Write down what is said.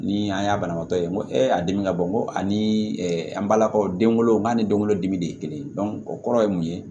Ni an y'a banabaatɔ ye n ko ee a dimi ka bon nko ani an balakaw denw n'a ni denwolodimi de ye kelen o kɔrɔ ye mun ye